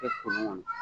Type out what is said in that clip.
Kɛ kolon kɔnɔ